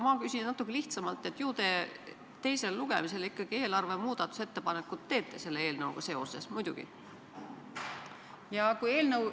Ma küsin natuke lihtsamalt: ju te teisel lugemisel eelarve kohta muudatusettepanekuid ikkagi teete selle eelnõuga seoses, muidugi?